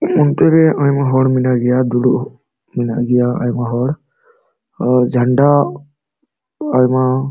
ᱟᱱᱛᱮ ᱨᱮ ᱟᱭᱢᱟ ᱦᱚᱲ ᱢᱮᱱᱟᱜ ᱜᱤᱭᱟ ᱰᱩᱲᱩᱵ ᱦᱚ ᱢᱮᱱᱟᱜ ᱜᱤᱭᱟ ᱮᱭᱢᱟ ᱦᱚᱲ ᱚ ᱡᱷᱟᱱᱰᱟ ᱟᱭᱢᱟ --